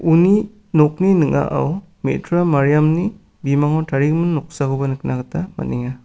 uni nokni ning·ao me·tra mariamni bimango tarigimin noksakoba nikna gita man·enga.